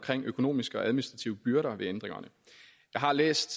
økonomiske og administrative byrder ved ændringerne jeg har læst